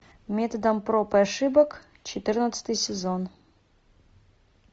методом проб и ошибок четырнадцатый сезон